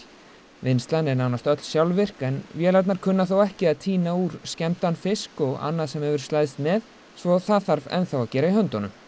vinnslan er að nánast öll sjálfvirk en vélarnar kunna þó ekki að tína úr skemmdan fisk og annað sem hefur slæðst með svo það þarf ennþá að gera í höndunum